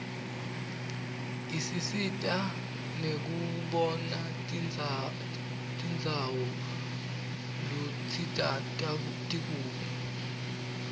ispsita nekubonatinbzawo luitisi tikuphi